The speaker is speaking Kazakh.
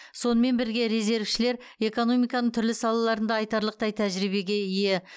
сонымен бірге резервшілер экономиканың түрлі салаларында айтарлықтай тәжірибеге ие